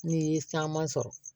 N'i ye caman sɔrɔ